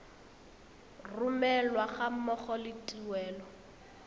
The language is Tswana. romelwa ga mmogo le tuelo